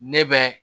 Ne bɛ